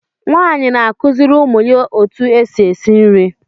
Nwaanyị na-akụziri ụmụ ya otú e si esi nri.